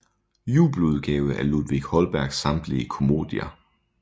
Jubeludgave af Ludvig Holbergs samtlige Comoedier